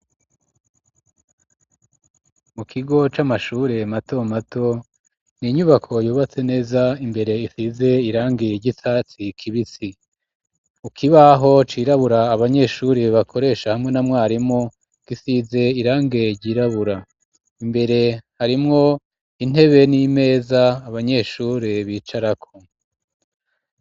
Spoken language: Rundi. Mu kigo c'amashure mato mato n'inyubako yubatse neza imbere isize irangi ry'icatsi kibisi ku kibaho cirabura abanyeshuri bakoresha hamwe na mwarimu gisize irangi ryirabura imbere harimwo intebe n'imeza abanyeshure bicarako.